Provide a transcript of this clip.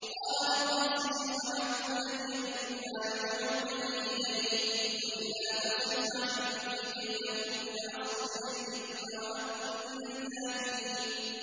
قَالَ رَبِّ السِّجْنُ أَحَبُّ إِلَيَّ مِمَّا يَدْعُونَنِي إِلَيْهِ ۖ وَإِلَّا تَصْرِفْ عَنِّي كَيْدَهُنَّ أَصْبُ إِلَيْهِنَّ وَأَكُن مِّنَ الْجَاهِلِينَ